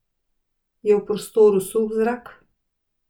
Je v prostoru suh zrak?